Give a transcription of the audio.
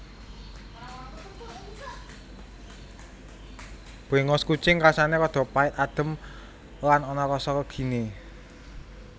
Bréngos kucing rasané rada pait adhem lan ana rasa leginé